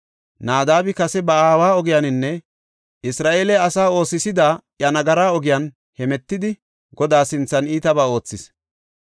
Naadabi kase ba aawa ogiyaninne Isra7eele asaa oosisida iya nagara ogiyan hemetidi Godaa sinthan iitabaa oothis.